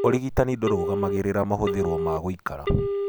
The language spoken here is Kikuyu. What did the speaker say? Ũrigitani ndũrũngamagĩrĩra mahũthĩrwo ma ngũikara.